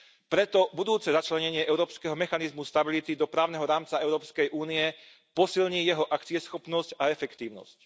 Preto budúce začlenenie Európskeho mechanizmu pre stabilitu do právneho rámca Európskej únie posilní jeho akcieschopnosť a efektívnosť.